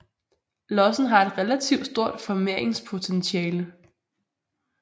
Lossen har et relativt stort formeringspotentiale